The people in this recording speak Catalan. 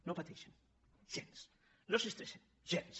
no pateixen gens no s’estressen gens